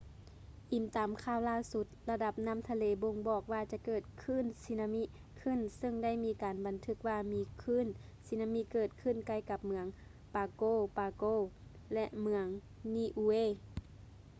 ອີງຕາມຂ່າວລ່າສຸດ ລະດັບນ້ຳທະເລບົ່ງບອກວ່າຈະເກີດຄື້ນສຸນາມິຂຶ້ນ. ຊຶ່ງໄດ້ມີການບັນທຶກວ່າມີຄື້ນສຸນາມີເກີດຂຶ້ນໃກ້ກັບເມືອງ ປາໂກ ປາໂກ pago pago ແລະ ເມືອງ ນີອູເອ niue